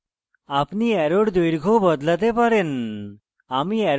আপনি arrow দৈর্ঘ্য বদলাতে পারেন